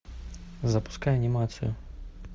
запускай анимацию